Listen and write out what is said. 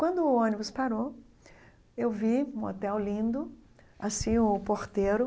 Quando o ônibus parou, eu vi um hotel lindo, assim o porteiro,